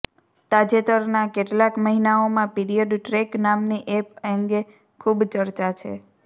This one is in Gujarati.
તાજેતરનાં કેટલાક મહિનાઓમાં પીરિયડ ટ્રૅક નામની એપ અંગે ખૂબ ચર્ચા છે